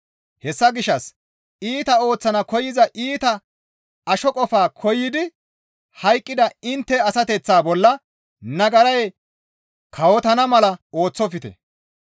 Hessa gishshas iita ooththana koyza iita asho qofa koyidi hayqqida intte asateththaa bolla nagaray kawotana mala ooththofte.